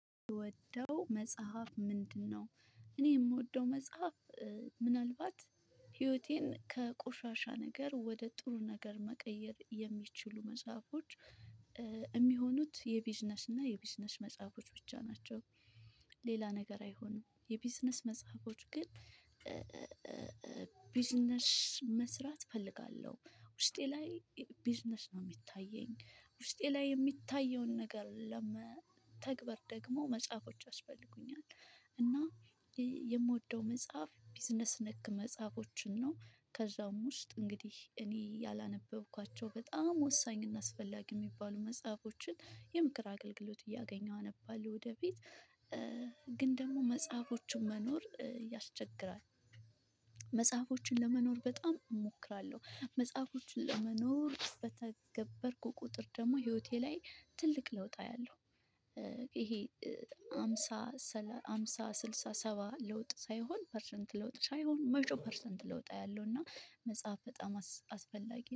ምወደው መጽሐፍ ምንድ ነው? እኔ ምወደው መጽሐፍ ምናልባት ህይወቴን ከቁሻሻ ነገር ወደ ጥሩ ነገር መቀየር የሚችሉ መጽሐፎች የሚሆኑት የቢዝነስ እና የቢዝነስ መጽሐፎች ብቻ ናቸው። ሌላ ነገር አይሆኑም የቢዝነስ መጽሐፎች ግን ቢዝነሽ መስራት እፈልጋለሁ ውስጤ ላይ ቢዝነሽ ነው ሚታየኝ ውስጤ ላይ ሚታየውን ነገር ለመተግበር ደግሞ መጽሐፎች አስፈልጉኛል እና የምወደው መጽሐፍ ቢዝነስ ነክ መጽሐፎችን ነው። ከዛም ውስጥ እንግዲህ እኔ ያላነበብኳቸው በጣም ወሳኝ እና አስፈላጊ የሚባሉ መጽሐፎችን የምክር አገልግሎትን እያገኘሁ አነባለሁ ወደ ቤት ግን ደግሞ መጽሐፎቹን መኖር ያስቸግራል መጽሐፎችን ለመኖር በጣም እሞክራለሁ መጽሐፎቹን ለመኖር ቁጥር ደግሞ ህይወቴ ላይ ትልቅ ለውጥ አያለሁ ይሄ አምሳ አምሳ ስልሳ ሰባ ለውጥ ሳይሆን ፐርሰንት ለውጥ ሳይሆን መቶ ፐርሰንት ለውጥ አያለው እና መጽሐፍ በጣም አስፈላጊ